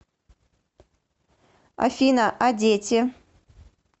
афина а дети